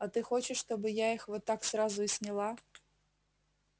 а ты хочешь чтобы я их вот так сразу и сняла